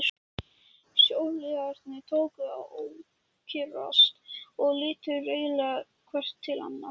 Sjóliðarnir tóku að ókyrrast og litu reiðilega hver til annars.